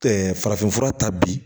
farafinfura ta bi